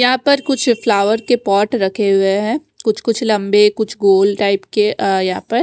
यहाँ पर कुछ फ्लावर के पॉट रखे हुए है कुछ कुछ लम्बे कुछ गोल टाइप के अ यहाँ पर--